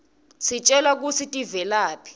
sitjelwa kutsi tivelaphi